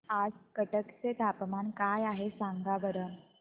आज कटक चे तापमान काय आहे सांगा बरं